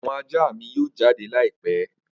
Awọn aja mi yoo jade laipẹ.